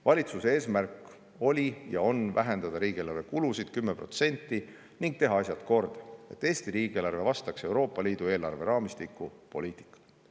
" Valitsuse eesmärk oli ja on vähendada riigieelarve kulusid 10% ning teha asjad korda, et Eesti riigieelarve vastaks Euroopa Liidu eelarveraamistiku poliitikale.